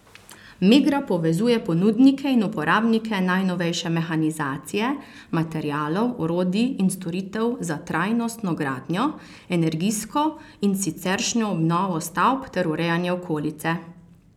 Megra povezuje ponudnike in uporabnike najnovejše mehanizacije, materialov, orodij in storitev za trajnostno gradnjo, energijsko in siceršnjo obnovo stavb ter urejanje okolice.